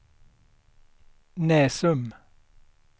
Näsum